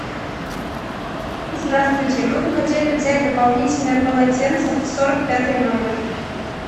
здравствуйте мы бы хотели взять дополнительное полотенце в сорок пятый номер